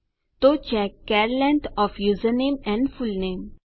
તો check char length of username and full name